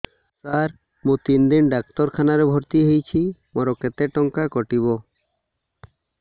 ସାର ମୁ ତିନି ଦିନ ଡାକ୍ତରଖାନା ରେ ଭର୍ତି ହେଇଛି ମୋର କେତେ ଟଙ୍କା କଟିବ